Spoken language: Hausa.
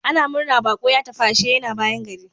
Ana murna baƙo ya tafi, ashe yana bayan gari.